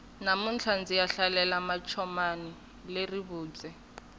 namuntlha ndziya hlalela mancomani le rivubye